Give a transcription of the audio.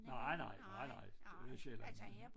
Nej nej nej nej det sjældent